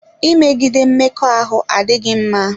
Imegide Mmekọahụ adịghị mma.